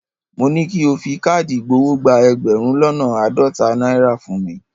Mo ní ki o fi káàdì ìgbowó gba ẹgbẹ̀rún lọ́nà àádọ́ta náírà fún mi.